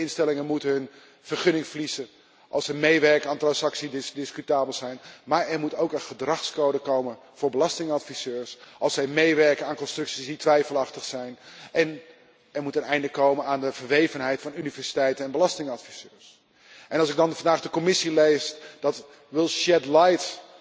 Financiële instellingen moeten hun vergunning verliezen als ze meewerken aan transacties die discutabel zijn, maar er moet ook een gedragscode komen voor belastingadviseurs als zij meewerken aan constructies die twijfelachtig zijn, en er moet een einde komen aan de verwevenheid van universiteiten en belastingadviseurs. En als ik dan de Commissie lees die will shed light